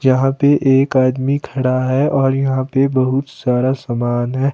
यहां पे एक आदमी खड़ा है और यहां पर बहुत सारा सामान है।